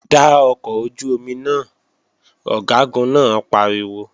Da ọkọ̀ ojú-omi náà! Ọ̀gágun náà pariwo